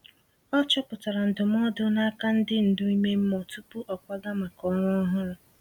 O chọpụtara ndụmọdụ n’aka ndi ndu ime mmụọ tupu ọ kwaga maka ọrụ ọhụrụ.